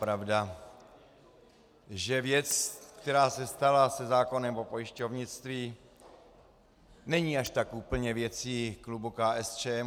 Pravda, že věc, která se stala se zákonem o pojišťovnictví, není až tak úplně věcí klubu KSČM.